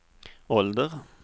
ålder